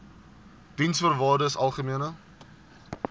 diensvoorwaardesalgemene